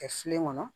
Kɛ filen kɔnɔ